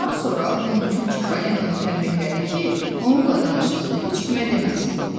Bundan sonra Lumucuq Çipollinonu tənbihlədi ki, onunla danışdığını heç kimə deməsin.